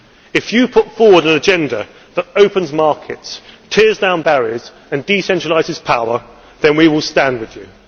If you put forward an agenda that opens markets, tears down barriers and decentralises power, then we will stand with you.